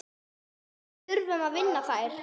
Við þurfum að vinna þær.